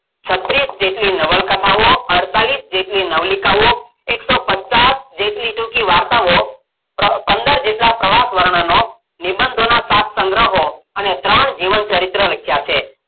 છત્રીશ જેટલી નવલકથાઓ અળતાળીશ જેટલી નવલિકાઓ એક સોં પચાસ જેટલી ટૂંકી વાર્તાઓ પંદર જેટલાં પ્રવાસવર્ણનો નિબંધોનો સાત સંગ્રહો અને ત્રણ જીવનચરિત્ર લખ્યાં છે.